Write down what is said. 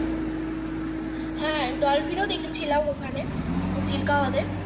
হ্যাঁ dolphin ও দেখেছিলাম ওখানে চিল্কাহ্রদ ।